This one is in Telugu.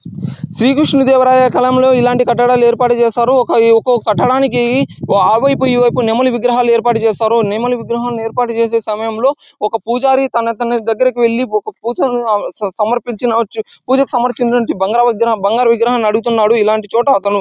శ్రీ కృష్ణ దేవరాయ కాలంలో ఇలాంటి కట్టడాలు ఏర్పాటు చేసారు. ఒక్కో ఒక్కో కట్టడానికి ఆ వైపు ఈ వైపు నెమలి విగ్రహాలు ఏర్పాటు చేసారు. నెమలి విగ్రహం ఏర్పాటు చేసే సమయంలో ఒక పూజారి తనన్ తన దగ్గరకు వెళ్లి ఒక పూసని సమర్పించవచ్చు. పూజకి సమర్పించిన బంగారు విగ్రహం బంగారు విగ్రహాన్ని అడుగుతున్నాడు. ఇలాంటి చోట అతను--